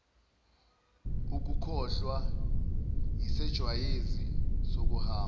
ukukhohlwa yisejwayezi sokuhamba